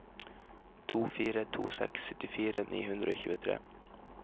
to fire to seks syttifire ni hundre og tjuetre